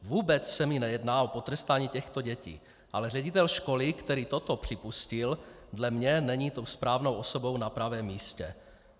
Vůbec se mi nejedná o potrestání těchto dětí, ale ředitel školy, který toto připustil, dle mě není tou správnou osobou na pravém místě.